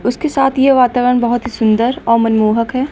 उसके साथ ये वातावरण बहोत ही सुंदर और मनमोहक है।